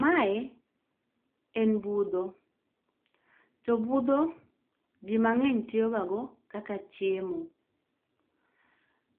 Mae en budho, to budho ji mang'eny tiyogago kaka chiemo.